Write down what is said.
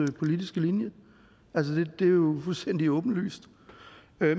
politiske linje det er jo fuldstændig åbenlyst